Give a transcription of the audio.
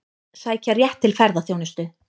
Sækja rétt til ferðaþjónustu